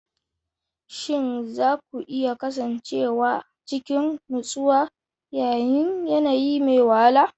Shin za ku iya kasancewa cikin nutsuwa yayin yanayi mai wahala?